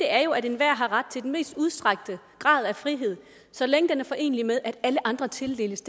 er jo at enhver har ret til den mest udstrakte grad af frihed så længe den er forenelig med at alle andre tildeles